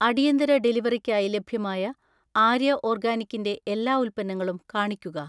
അടിയന്തര ഡെലിവറിക്കായി ലഭ്യമായ ആര്യ ഓർഗാനിക്കിന്റെ എല്ലാ ഉൽപ്പന്നങ്ങളും കാണിക്കുക